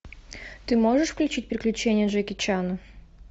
ты можешь включить приключения джеки чана